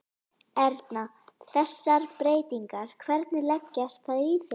Erna, þessar breytingar, hvernig leggjast þær í þig?